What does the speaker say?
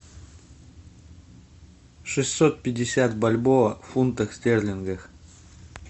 шестьсот пятьдесят бальбоа в фунтах стерлингах